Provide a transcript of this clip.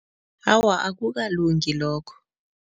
Awa, akukalungi lokho.